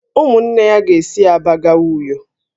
Ụmụnne ya ga-esi Aba gawa Uyo